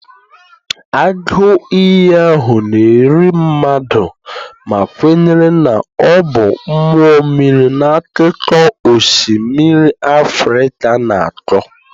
Agụ iyi ahụ na-eri mmadụ ma kwenyere na ọ bụ mmụọ mmiri na akụkọ osimiri Africa na-akọ.